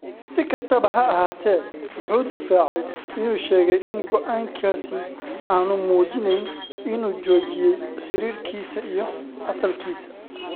Si kastaba ha ahaatee, wuxuu difaacay inuu sheegay in go’aankaasi aanu muujinayn inuu joojiyay xiriirkiisa iyo asalkiisa.